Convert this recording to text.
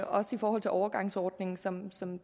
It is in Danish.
også i forhold til overgangsordningen som som